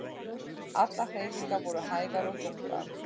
Allar hreyfingar voru hægar og þungar.